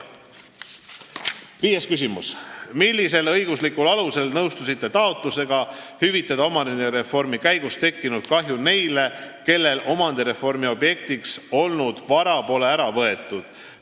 Viies küsimus: "Millisel õiguslikul alusel nõustusite taotlusega "hüvitada omandireformi käigus tekkinud kahju" neile, kellel omandireformi objektiks olnud vara pole ära võetud?